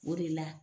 O de la